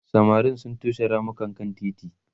samarin sun toshe ramukan kan titi